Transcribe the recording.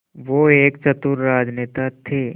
वो एक चतुर राजनेता थे